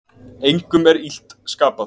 Engum er illt skapað.